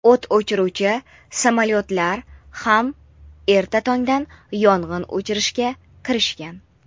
o‘t o‘chiruvchi samolyotlar ham erta tongdan yong‘in o‘chirishga kirishgan.